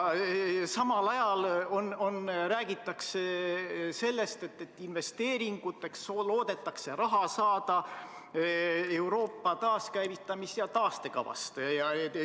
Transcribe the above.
Ja samal ajal räägitakse sellest, et investeeringuteks loodetakse raha saada Euroopa taaskäivitamisfondist taastekava alusel.